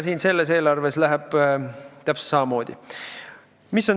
Selles eelarves on täpselt samamoodi.